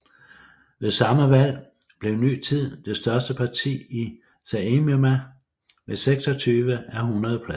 Ved samme valg blev Ny Tid det største parti i Saeima med 26 ud af 100 pladser